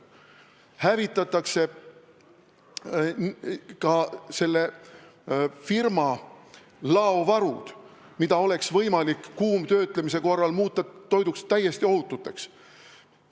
Hävitatakse ka selle firma laovarud, mida oleks võimalik kuumtöötlemisega muuta täiesti ohutuks toiduks.